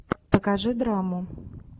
покажи драму